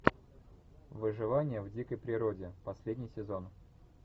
выживание в дикой природе последний сезон